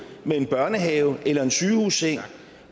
med en børnehave eller en sygehusseng